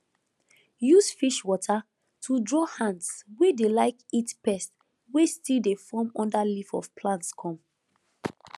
use fish water to draw ants wey dey like eat pest wey still dey form under leaf of plants come